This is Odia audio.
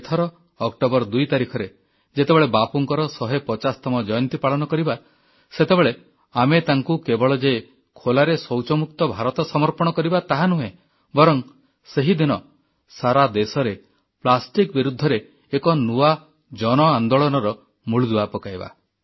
ଏଥର ଅକ୍ଟୋବର 2 ତାରିଖରେ ଯେତେବେଳେ ବାପୁଙ୍କର 150ତମ ଜୟନ୍ତୀ ପାଳନ କରିବା ସେତେବେଳେ ଆମେ ତାଙ୍କୁ କେବଳ ଯେ ଖୋଲାରେ ଶୌଚମୁକ୍ତ ଭାରତ ସମର୍ପଣ କରିବା ତାହା ନୁହେଁ ବରଂ ସେହିଦିନ ସାରା ଦେଶରେ ପ୍ଲାଷ୍ଟିକ ବିରୁଦ୍ଧରେ ଏକ ନୂଆ ଜନ ଅନ୍ଦୋଳନର ମୂଳଦୁଆ ପକାଇବା